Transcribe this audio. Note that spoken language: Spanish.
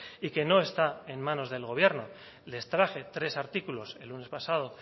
y que no está en manos del gobierno les traje tres artículos el lunes pasado